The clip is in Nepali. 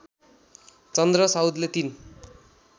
चन्द्र साउदले ३